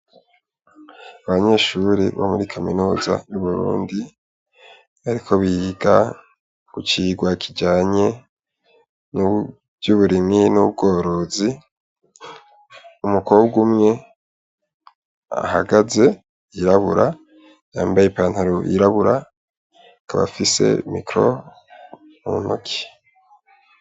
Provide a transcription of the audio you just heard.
Abanyeshure bo muri kaminuza y'i burundi bariko biga icigwa kijanye nivy'uburimyi n'ubworozi ,umukobwa umwe ahagaze yirabura yambaye i pantaro yirabura akaba afise micro mu ntoki.